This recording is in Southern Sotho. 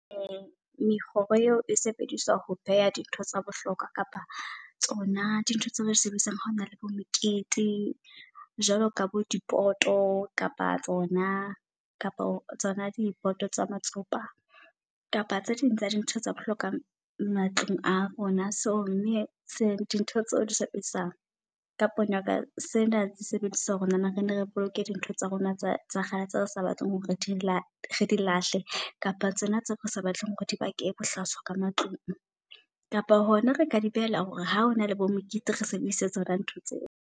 Meroho eo e sebediswa ho pheha dintho tsa bohlokwa kapa tsona di ntho tseo re sebedisang ha hona le bo mekete. Jwalo ka bo dipoto kapa tsona kapa tsona dipoto tsa matsopa kapa tse ding tsa di ntho tsa bohlokwa matlung a rona. So mme se dintho tseo di sebedisang ka pono yaka sena di sebedisa hore nahana re ne re boloke dintho tsa rona tsa kgale re sa batleng hore re di re di lahle. Kapa tsona tseo re sa batleng hore di bake bohlaswa ka matlung kapa hona re ka di behela hore ha o na le bo mokete, re sebedise tsona ntho tseo.